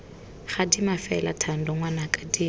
gadima fela thando ngwanaka dira